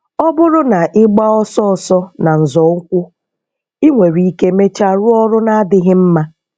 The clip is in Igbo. Ọ bụrụ na ịgbaa ọsọ ọsọ na nzọụkwụ, ị nwere ike mechaa rụọ ọrụ na-adịghị mma.